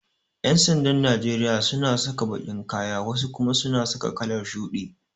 Yan'sandan Najeriya suna saka baƙin kaya wasu kuma suna saka kalar shuɗi.